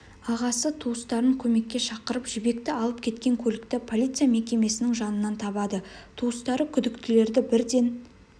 ағасы туыстарын көмекке шақырып жібекті алып кеткен көлікті полиция мекемесінің жанынан табады туыстары күдіктілерді бірден